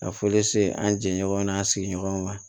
Ka foli se an jɛ ɲɔgɔn ma n'an sigiɲɔgɔnw ma